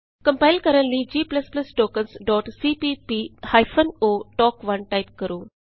compile ਕਰਨ ਲਈ G tokens CPP O ਟੋਕ1 ਜੀ tokensਸੀਪੀਪੀ ਓ ਟੋਕ 1 ਟਾਈਪ ਕਰੋ